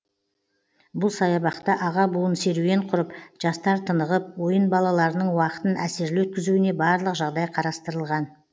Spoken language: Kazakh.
бұл саябақта аға буын серуен құрып жастар тынығып ойын балаларының уақытын әсерлі өткізуіне барлық жағдай қарастырылған